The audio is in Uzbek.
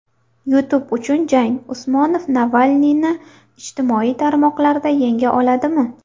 YouTube uchun jang: Usmonov Navalniyni ijtimoiy tarmoqlarda yenga oldimi?.